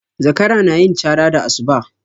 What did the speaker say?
Zakara na yin cara da asuba